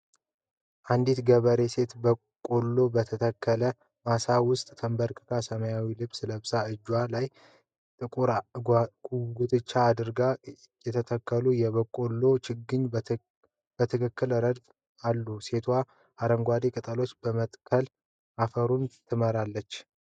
አንዲት ገበሬ ሴት በቆሎ በተተከለበት ማሳ ውስጥ ተንበርክካለች። ሰማያዊ ልብስ ለብሳ እጆቿ ላይ ጥቁር ጓንቶች አድርጋለች። የተተከሉ የቆሎ ችግኞች በትክክለኛ ረድፍ አሉ። ሴቷ አረንጓዴ ቅጠሎችን በመንካት አፈሩን ትመረምራለች።